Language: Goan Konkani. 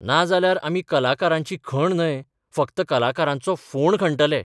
नाजाल्यार, आमी कलाकारांची खण न्हय, फक्त कलाकारांचो फोंड खणतले...